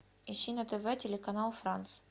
ищи на тв телеканал франц